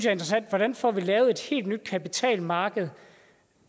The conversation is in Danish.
er interessante hvordan får vi lavet et helt nyt kapitalmarked